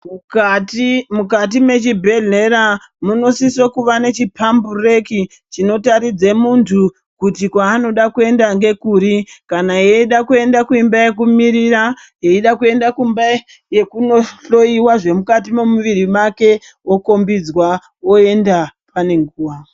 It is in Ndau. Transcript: Mukati mechibhedhlera munosisa kunge nechipambu reki chinotaridza muntu kuti kwanoda kuenda nekuri kana eida kuenda kumba yekumirira veida kuenda kumba veindohloiwa zvemukati memuviri make okombidzwa oenda pane nguwa.